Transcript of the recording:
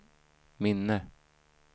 minne